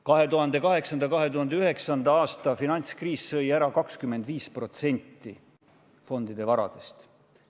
2008.–2009. aasta finantskriis sõi ära 25% fondide varast.